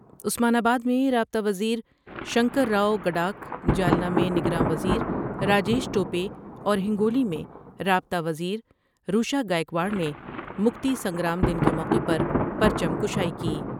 عثمان آباد میں رابطہ وزیر شنکر راؤ گڈا کھ جالنہ میں نگراں وزیر راجیش ٹو پے اور ہنگو لی میں رابطہ وزیر روشا گا ئیکواڑ نے مکتی سنگرام دن کے موقعے پر پرچم کشائی کی ۔